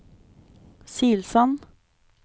Silsand